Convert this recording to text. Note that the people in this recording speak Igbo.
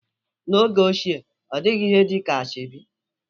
N'oge ochie, ọ dịghị ihe dị ka asoebi